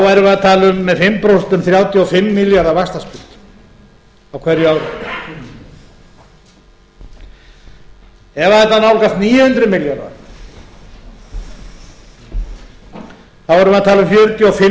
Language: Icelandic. tala um með fimm prósentum þrjátíu og fimm milljarða vaxtastig á hverju ári ef þetta nálgast níu hundruð milljarða værum við að tala um